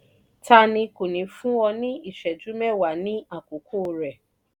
tani kò ní fún ọ ní ìṣẹ́jú mẹ́wa ní àkókò rẹ̀?